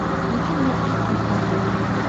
включи мне дтикс на смотрешке